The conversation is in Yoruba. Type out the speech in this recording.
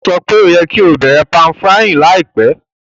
Ó sọ pe o yẹ́ ki o bẹ̀rẹ̀ pan-frying láìpẹ́